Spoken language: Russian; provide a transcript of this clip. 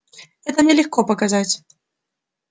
это мне легко показать